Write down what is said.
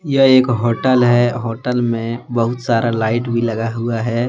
यह एक होटल है। होटल में बहुत सारा लाइट भी लगा हुआ है।